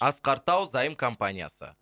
асқар тау заем компаниясы